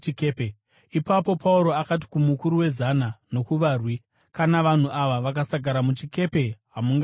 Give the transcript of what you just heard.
Ipapo Pauro akati kumukuru wezana nokuvarwi, “Kana vanhu ava vakasagara muchikepe, hamungararami.”